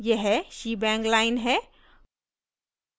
यह shebang line है